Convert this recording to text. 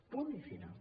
punt i final